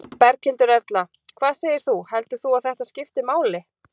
Berghildur Erla: Hvað segir þú, heldur þú að þetta skipti máli?